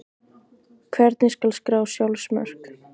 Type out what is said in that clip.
Hvernig skal skrá sjálfsmörk?